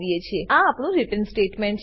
અને આ આપણું રિટર્ન રીટર્ન સ્ટેટમેંટ છે